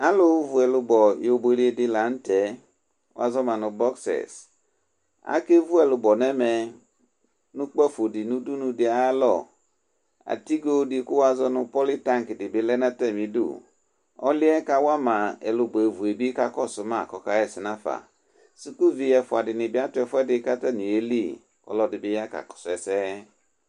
Alʋvi ɛlʋbɔ yɔ buele dɩ la n'tɛ Alevi ɛlʋbɔ n'ɛmɛ nʋ ukpafo dɩ nʋ udunu dɩ ayalɔ Atigo dɩ kʋ wazɔ nʋ politank dɩ bɩ lɛ n'atamidu Ɔlu yɛ kawa ma ɛlʋbɔ evu yɛ bɩ kakɔsʋ ma k'ɔka ɣɛsɛ nafa Dikuvi ɛfua dɩnɩ bɩ atʋ ɛfʋɛdi k'atanɩ ye li, ɔlɔdi bɩ ya kakɔsʋ ɛsɛ